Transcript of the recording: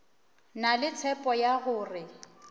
na le tshepo ya gore